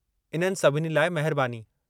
इननि सभिनी लाइ महिरबानी।